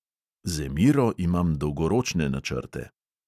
Z emiro imam dolgoročne načrte.